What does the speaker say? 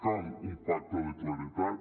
cal un pacte de claredat